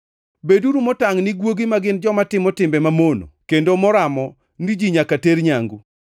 Beduru motangʼ ni guogi ma gin joma timo timbe mamono kendo moramo ni ji nyaka ter nyangu.